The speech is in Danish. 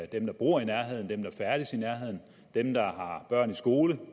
der bor i nærheden dem der færdes i nærheden dem der har børn i skole